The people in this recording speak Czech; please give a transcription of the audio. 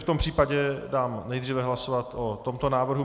V tom případě dám nejdříve hlasovat o tomto návrhu.